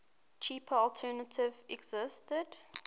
cheaper alternative existed